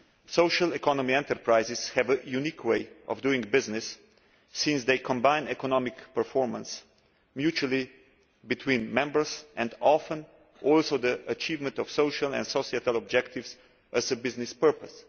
Social economy enterprises have a unique way of doing business since they combine economic performance mutually between members, and often also the achievement of social and societal objectives, as a business purpose.